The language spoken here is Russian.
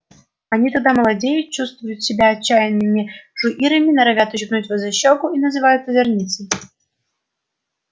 они тогда молодеют чувствуют себя отчаянными жуирами норовят ущипнуть вас за щёку и называют озорницей